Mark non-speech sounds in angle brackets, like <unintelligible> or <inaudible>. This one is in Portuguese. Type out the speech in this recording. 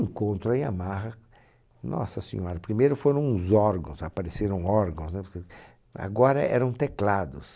Encontro a Yamaha, nossa senhora, primeiro foram os órgãos, apareceram órgãos, né... <unintelligible> agora eram teclados.